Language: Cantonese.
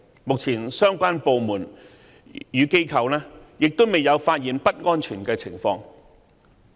目前，相關部門與機構未有發現不安全的情況。